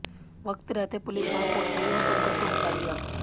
वक्त रहते पुलिस वहां पहुंच गई और पंकज को बचा लिया